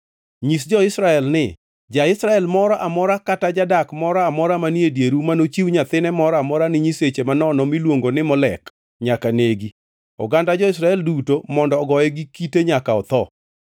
Nyis jo-Israel ni: Ja-Israel moro amora kata jadak moro amora manie dieru manochiw nyathine moro amora ni nyiseche manono miluongo ni Molek, nyaka negi. Oganda jo-Israel duto mondo ogoye gi kite nyaka otho.